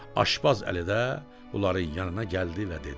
Aşpəz Əli də bunların yanına gəldi və dedi.